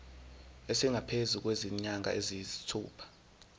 esingaphezu kwezinyanga eziyisithupha